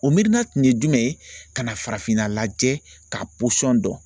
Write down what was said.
O miirina tun ye jumɛn ye, ka na farafinna lajɛ ka pɔsɔn dɔn.